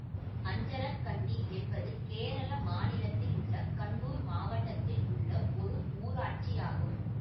அஞ்சரக்கண்டி என்பது கேரள மாநிலத்தில் உள்ள கண்ணூர் மாவட்டத்தில் உள்ள ஒரு ஊராட்சி ஆகும்